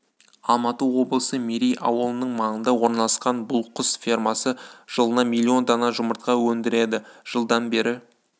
алматы облысы мерей ауылының маңында орналасқан бұл құс фермасы жылына млн дана жұмыртқа өндіреді жылдан бері